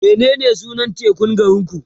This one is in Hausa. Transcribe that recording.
menene sunan tekun garinku?